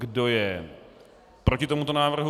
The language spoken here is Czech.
Kdo je proti tomuto návrhu?